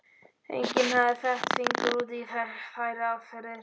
Enginn hafði fett fingur út í þær aðferðir.